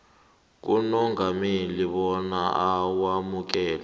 kumongameli bona awamukele